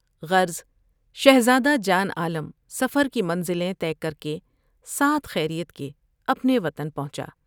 غرض شہزاد ہ جان عالم سفر کی منزلیں طے کر کے ساتھ خیریت کے اپنے وطن پہنچا ۔